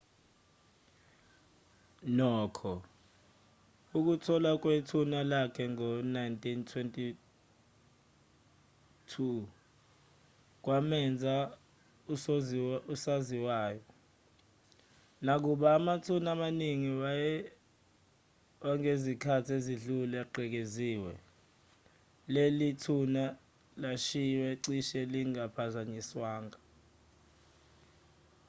nokho ukutholwa kwethuna lakhe ngo-1922 kwamenza usowaziwayo nakuba amathuna amaningi wangezikhathi ezidlule egcekeziwe leli thuna lalishiywe cishe lingaphazanyiswanga